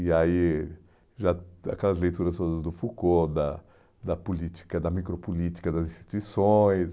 E aí, já aquelas leituras todas do Foucault, da da política, da micropolítica das instituições.